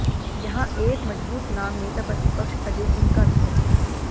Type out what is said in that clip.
यहां एक मजबूत नाम नेता प्रतिपक्ष अजय सिंह का भी है